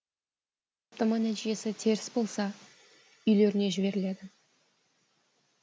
сараптама нәтижесі теріс болса үйлеріне жіберіледі